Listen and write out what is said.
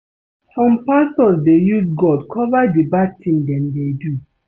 Some pastors dey use God cover the bad thing dem dey do